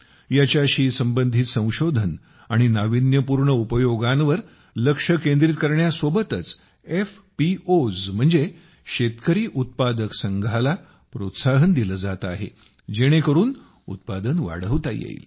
यासंबंधित संशोधन आणि नावीन्यपूर्ण उपयोगांवर लक्ष केंद्रित करण्यासोबतच एफपीओएस ला प्रोत्साहन दिले जात आहे जेणेकरून उत्पादन वाढवता येईल